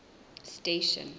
station